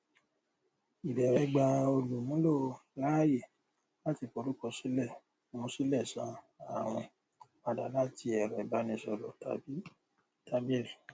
ìbẹwẹ gbà olùmúlò láàyè láti forúkọsílẹ mu sílẹ san àwìn padà láti ẹrọ ìbánisọrọ tàbí tábìlì